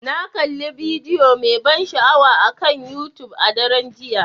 Na kalli bidiyo mai ban sha'awa akan YouTube a daren jiya.